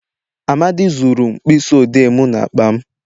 Amadi zuru mkpisi odee m n'akpa m